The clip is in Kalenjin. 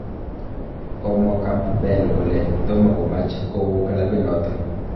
Komwaa Campbell kole tomokomach kouu kilabit noton.